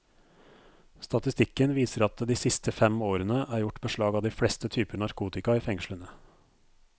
Statistikken viser at det de siste fem årene er gjort beslag av de fleste typer narkotika i fengslene.